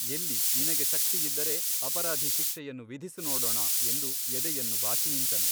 ಎಲ್ಲಿ ನಿನಗೆ ಶಕ್ತಿಯಿದ್ದರೆ ಅಪರಾಧಿ ಶಿಕ್ಷೆಯನ್ನು ವಿಧಿಸು ನೋಡೋಣ ಎಂದು ಎದೆಯನ್ನು ಬಾಚಿ ನಿಂತನು.